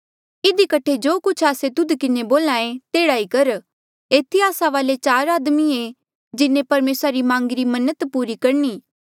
इधी कठे जो कुछ आस्से तुध किन्हें बोल्हा ऐें तेह्ड़ा ई कर एथी आस्सा वाले चार आदमिये जिन्हें परमेसरा री मांगिरी मन्नत पूरी करणी